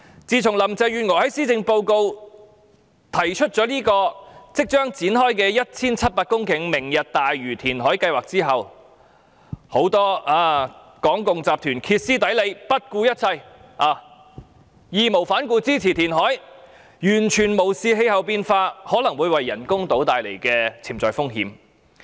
自從林鄭月娥在施政報告提出這個即將展開的 1,700 公頃"明日大嶼"填海計劃後，很多港共集團歇斯底里、不顧一切、義無反顧支持填海，完全無視氣候變化可能會為人工島帶來的潛在風險。